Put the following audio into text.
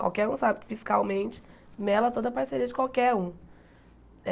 Qualquer um sabe que fiscalmente mela toda a parceria de qualquer um.